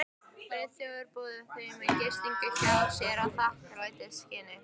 Friðþjófur boðið þeim að gista hjá sér í þakklætisskyni.